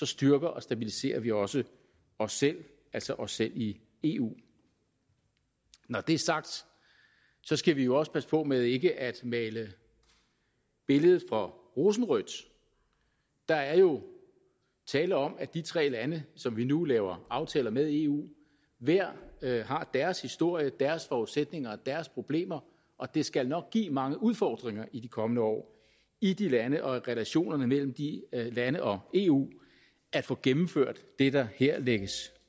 styrker og stabiliserer vi også os selv altså os selv i eu når det er sagt skal vi jo også passe på med ikke at male billedet for rosenrødt der er jo tale om at de tre lande som vi nu laver aftaler med i eu hver har deres historie deres forudsætninger og deres problemer og det skal nok give mange udfordringer i de kommende år i de lande og i relationerne mellem de lande og eu at få gennemført det der her lægges